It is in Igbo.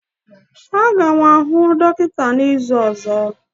Aga m ahụ dọkịta n'izu ọzọ.